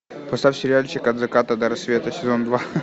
поставь сериальчик от заката до рассвета сезон два